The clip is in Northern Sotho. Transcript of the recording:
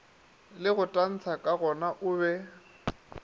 le go tantsha kagona obe